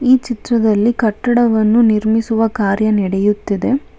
ಈ ಚಿತ್ರದಲ್ಲಿ ಕಟ್ಟಡವನ್ನು ನಿರ್ಮಿಸುವ ಕಾರ್ಯ ನೆಡೆಯುತ್ತಿದೆ.